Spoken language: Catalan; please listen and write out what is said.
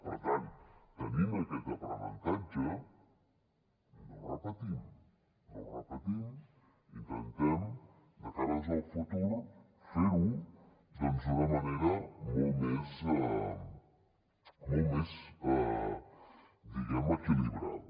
per tant tenint aquest aprenentatge no ho repetim no ho repetim intentem de cara al futur fer ho doncs d’una manera molt més equilibrada